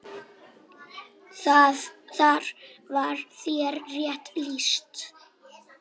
Þar var þér rétt lýst!